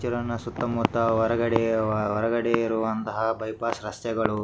ಕಿರಣ ಸುತ್ತ ಮುತ್ತ ಹೊರಗಡೆ ಹೊರಗಡೆ ಇರುವಂಥ ಬೈಪಾಸ್ ರಸ್ತೆಗಳು --